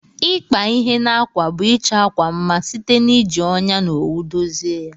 Ikpa ihe na akwa bu ichọ akwa mma site na iji ọnya na owu dozie ya.